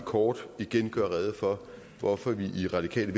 kort igen gøre rede for hvorfor vi i radikale